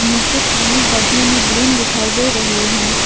नीचे पानी गड्ढे में ग्रीन दिखाई दे रही है।